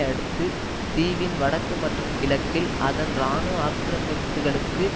அடுத்து தீவின் வடக்கு மற்றும் கிழக்கில் அதன் இராணுவ ஆக்கிரமிப்புபுகளுக்கு